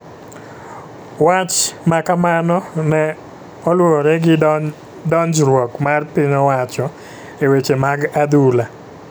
wach makamano ne oluwore gi donjruok mar piny owacho e weche mad adhula.